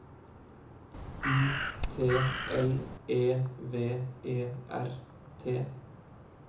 U T L E V E R T